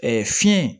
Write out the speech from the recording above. fiɲɛ